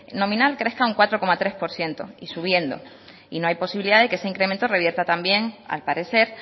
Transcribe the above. nominal crezca un cuatro coma tres por ciento y subiendo y no hay posibilidad de que ese incremento revierta también al parecer